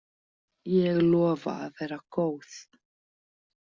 Ég lofa að vera góð.